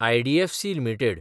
IDFC limited